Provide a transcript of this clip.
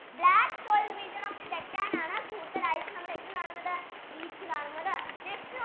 black soil region of deccan ആണ് കൂടുതലായിട്ട് നമ്മൾ എന്ത് കാണുന്നത് wheat കാണുന്നത്